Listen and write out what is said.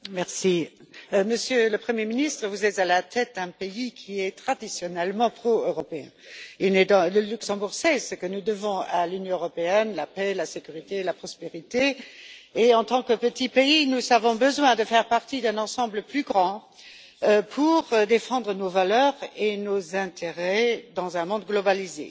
Monsieur le Président, Monsieur le Premier ministre, vous êtes à la tête, un pays qui est traditionnellement pro européen. Le Luxembourg sait ce que nous devons à l'Union européenne, la paix, la sécurité et la prospérité et, en tant que petit pays, nous avons besoin de faire partie d'un ensemble plus grand pour défendre nos valeurs et nos intérêts dans un monde globalisé.